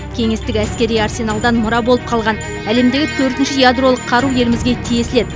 кеңестік әскери арсеналдан мұра болып қалған әлемдегі төртінші ядролық қару елімізге тиесілі еді